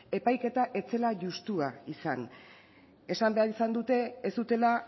epaiketa ez zela juxtua izan esan behar izan dute ez zutela